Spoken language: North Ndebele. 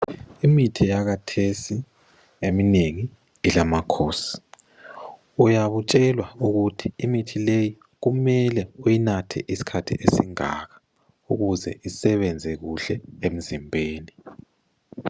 Imithi yakhathesi eminengi ilamakhosi, uyabe utshelwa ukuthi imithi leyi kumele uyinathe isikhathi esingaka ukuze isebenze kuhle emzimbeni.